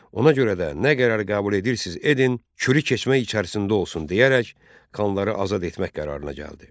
Ona görə də nə qərar qəbul edirsiz edin, kürük keçmiş içərisində olsun deyərək, xanları azad etmək qərarına gəldi.